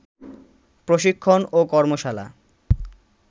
প্রশিক্ষণ ও কর্মশালা